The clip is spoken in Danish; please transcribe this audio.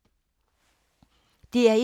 DR1